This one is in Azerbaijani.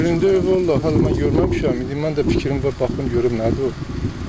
Üzərində vallah hələ mən görməmişəm, indi mənim də fikrim var, baxım görüm nədir o.